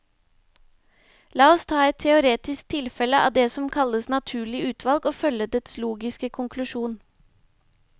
La oss ta et teoretisk tilfelle av det som kalles naturlig utvalg, og følge dets logiske konklusjon.